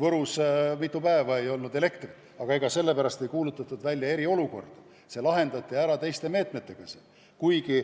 Võrus ei olnud mitu päeva elektrit, aga ega sellepärast ei kuulutatud välja eriolukorda, see lahendati ära teiste meetmetega, kuigi